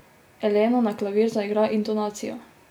Elena na klavir zaigra intonacijo.